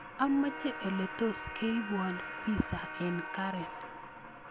Amache ole tos keibuan pizza en karen